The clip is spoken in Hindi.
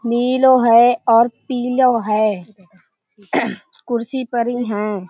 नीलों है और पीलो है। कुर्सी हैं।